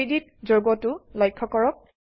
3ডি ত যৌগটো লক্ষ্য কৰক